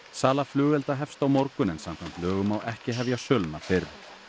sala flugelda hefst á morgun en samkvæmt lögum má ekki hefja söluna fyrr